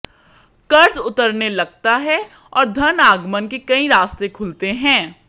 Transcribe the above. कर्ज उतरने लगता है और धन आगमन के कई रास्ते खुलते हैं